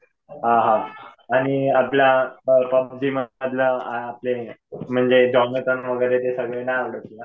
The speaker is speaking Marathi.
हा हा. आणि आपला म्हणजे वगैरे ते सगळे नाही आवडत तुला?